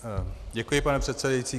Děkuji, pane předsedající.